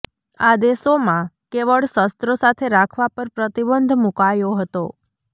આદેશોમાં કેવળ શસ્ત્રો સાથે રાખવા પર પ્રતિબંધ મુકાયો હતો